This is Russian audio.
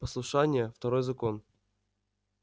послушание второй закон